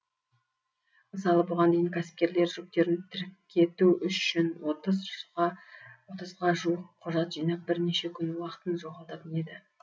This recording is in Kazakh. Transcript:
мысалы бұған дейін кәсіпкерлер жүктерін тіркету үшін отызға жуық құжат жинап бірнеше күн уақытын жоғалтатын еді